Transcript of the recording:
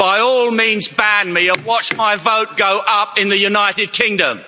By all means, ban me and watch my vote go up in the United Kingdom.